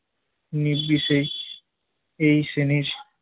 নির্বিশেষে এই শ্রেণির